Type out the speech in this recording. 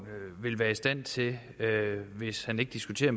vil være i stand til hvis han ikke diskuterer